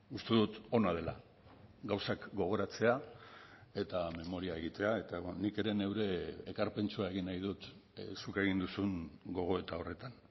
uste dut ona dela gauzak gogoratzea eta memoria egitea eta nik ere neure ekarpentxoa egin nahi dut zuk egin duzun gogoeta horretan